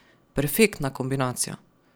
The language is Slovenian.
Perfektna kombinacija!